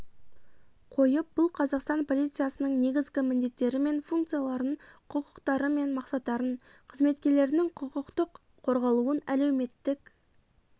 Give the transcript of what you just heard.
қойып бұл қазақстан полициясының негізгі міндеттері мен функцияларын құқықтары мен мақсаттарын қызметкерлерінің құқықтық қорғалуын әлеуметтік